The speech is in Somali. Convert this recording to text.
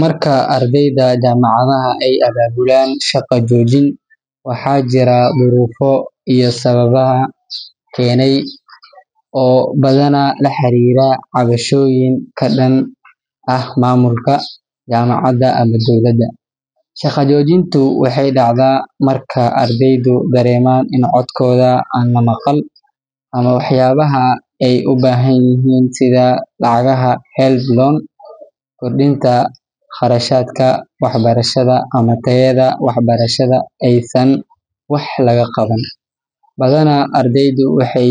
Marka ardayda jaamacadaha ay abaabulaan shaqo joojin, waxaa jira duruufo iyo sababaha keenay oo badanaa la xiriira cabashooyin ka dhan ah maamulka jaamacadda ama dowladda. Shaqo joojintu waxay dhacdaa marka ardaydu dareemaan in codkooda aan la maqal, ama waxyaabaha ay u baahan yihiin sida lacagaha HELB loan, kordhinta kharashaadka waxbarashada, ama tayada waxbarashada aysan wax laga qaban. Badanaa, ardaydu waxay